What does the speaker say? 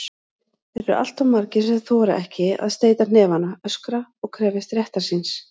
Þeir eru alltof margir sem þora ekki að steyta hnefana, öskra og krefjast réttar síns.